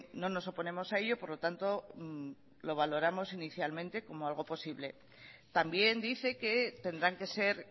no nos oponemos a ello por lo tanto lo valoramos inicialmente como algo posible también dice que tendrán que ser